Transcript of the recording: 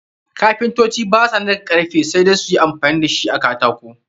Kapintoci ba su narka karfi, sai dai su yi amfani da shi a katako.